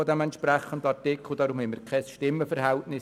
Deshalb gibt es dazu kein Stimmenverhältnis.